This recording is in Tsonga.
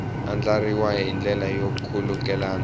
andlariwile hi ndlela yo khulukelana